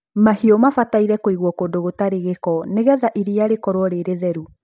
mahiũ mabataire kũiguo kũndũ gũtarĩ gĩko nigetha iria rĩkoruo rĩ rĩtheru